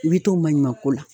I be to maɲuman ko la